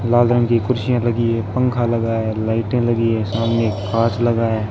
लाल रंग की कुर्सियां लगी हैं। पंखा लगा है। लाइटें लगी है। सामने खाट लगा है।